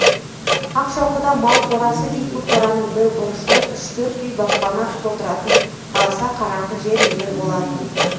ақшоқыда мал қорасы дейтін қораның бір бұрышында үш-төрт үй баспана қып отыратын аласа қараңғы жер үйлер болатын